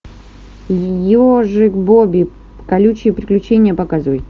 ежик бобби колючие приключения показывай